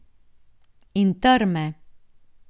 In trme.